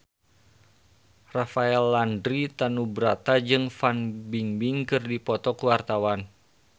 Rafael Landry Tanubrata jeung Fan Bingbing keur dipoto ku wartawan